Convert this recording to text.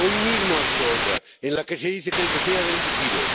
Hoy mismo ha habido otra en la que se dice que el PP ha delinquido.